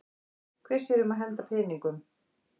Hver sér um að henda peningum?